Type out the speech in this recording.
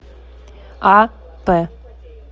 а п